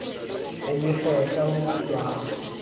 ya dikgetla ho kutwa ha